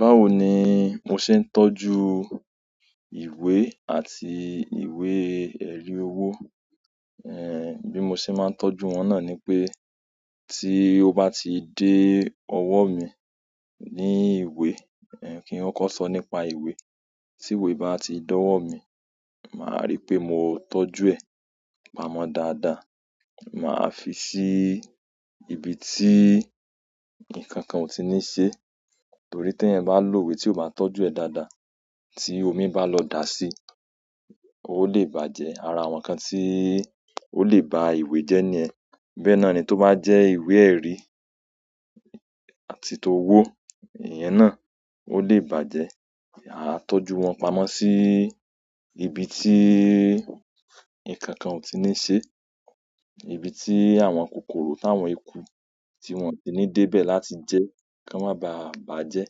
Báwo ni mo ṣe ń tọ́jú ìwé àti ìwé-ẹ̀rí owó, bí mo ṣe máa ń tọ́jú wọn náà ni pé tí ó bá ti dé ọwọ́ mi ní ìwé, kí n kọ kọ so nípa ìwé, tí ìwé bá ti dọ̀wọ́ mi, màá rí pé mo tọ́jú ẹ́ pamọ́ dáadáa. Màá fi sí ibi tí nǹkan kan ò tí ní ṣe, torí tí eeyan bá n lò ìwé tí o bá tọ́jú ẹ dáadáa, tí omi bá lọ dà sí i, ó lè bàjẹ́. Ara àwọn nǹkan tí ó lè ba ìwé jẹ́ niyẹn. Bẹ́ẹ̀ náà ni tó bá jẹ́ ìwé-ẹ̀rí àti ti owó, e yẹn náà ó lè bàjẹ́. A tọ́jú wọn pamọ́ sí ibi tí ǹkan kan ò tí ní ṣe, ibi tí àwọn kòkòrò táwọn eku tí wọ́n ò tí ní dé bẹ̀ láti jẹ́, kí wọ́n má bàa bàjẹ́.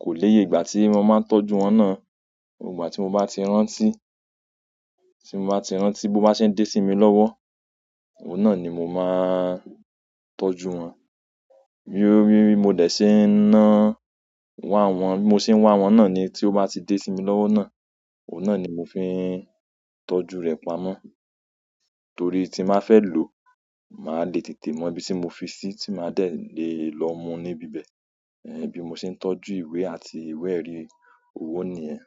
Ko niye ìgbà ti won ma n tọ́jú won náà ìgbà tí mo bá ti rántí, tí mo bá ti rántí, bó bá ṣe ń dé sí mi lọ́wọ́, òun náà ni mo máa ń tọ́jú wọn. Bi mo de se n wa won, to ba ti de si mi lowo náà ni mo se n tọ́jú re pamọ́ torí tí n ba fẹ́ lò ó, màá le tètè mọ ibi tí mo fi sí i, tí màá dẹ̀ le è lọ mú níbi bẹ̀. Bí mo ṣe ń tọ́jú ìwé àti ìwé-ẹ̀rí owó ni yen.